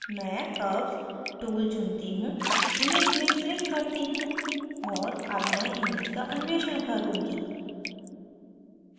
मैं curves tool चुनती हूँ image में click करती हूँ और अब मैं image का अन्वेषण करुँगी